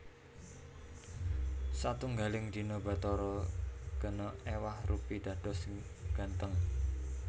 Satunggaling dina Bathara Gana éwah rupi dados gantheng